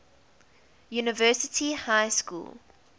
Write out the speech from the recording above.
university high school